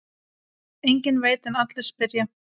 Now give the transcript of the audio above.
Enginn veit en allir spyrja.